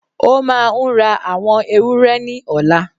Ó máà ń ra awon ewúrẹ́ ni ola.